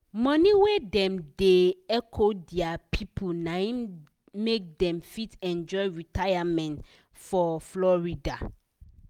money wey dem da hecho dia people naim make dem fit enjoy retirement for florida